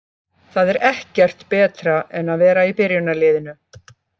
Það er ekkert betra en að vera í byrjunarliðinu.